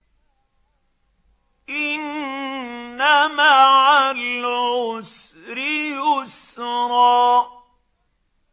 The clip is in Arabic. إِنَّ مَعَ الْعُسْرِ يُسْرًا